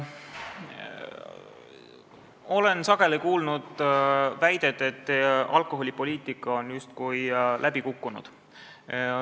Olen sageli kuulnud väidet, et alkoholipoliitika on justkui läbi kukkunud.